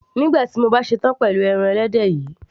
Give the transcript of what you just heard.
nígbà tí mo bá ṣe tán pẹ̀lú pọ́ọ́kì yìí